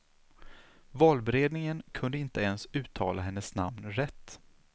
Valberedningen kunde inte ens uttala hennes namn rätt.